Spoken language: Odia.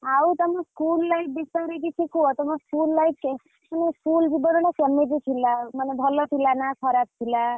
ଆଉ ତମ school life ବିଷୟରେ କିଛି କୁହ ତମ school life ରେ ତମ school କେମିତି ଥିଲା? ମାନେ ଭଲ ଥିଲା ନା ଖରାପ ଥିଲା।